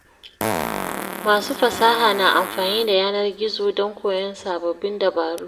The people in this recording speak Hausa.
Masu fasaha na amfani da yanar gizo don koyon sababbin dabaru.